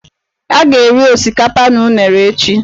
A ga-eri osikapa na unere echi.